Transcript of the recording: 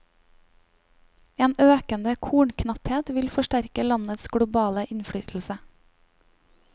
En økende kornknapphet vil forsterke landets globale innflytelse.